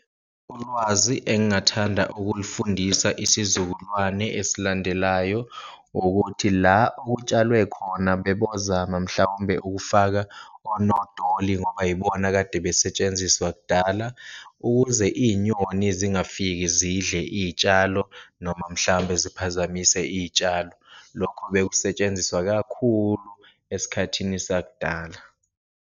Ulwazi engathanda ukulufundisa isizukulwane eslandelayo ukuthi la okutshalwe khona bebozama mhlawumbe ukufaka onodoli, ngoba yibona akade besetshenziswa kudala ukuze iyinyoni zingafiki zidle iyitshalo noma mhlambe ziphazamise iyitshalo. Lokho bekusetshenziswa kakhulu esikhathini sakudala.